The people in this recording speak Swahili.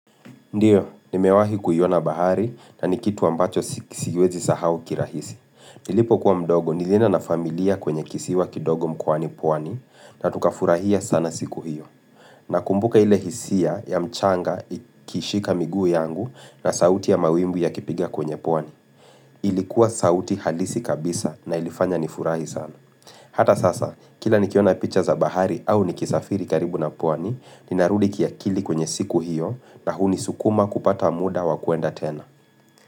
Ndio, nimewahi kuiona bahari na ni kitu ambacho siwezi sahau kirahisi. Nilipokuwa mdogo nilienda na familia kwenye kisiwa kidogo mkoani pwani na tukafurahia sana siku hiyo. Na kumbuka ile hisia ya mchanga ikishika miguu yangu na sauti ya mawimbi yakipiga kwenye pwani. Ilikuwa sauti halisi kabisa na ilifanya nifurahi sana. Hata sasa, kila nikiona picha za bahari au nikisafiri karibu na pwani, ninarudi kiakili kwenye siku hiyo na hunisukuma kupata muda wakuenda tena.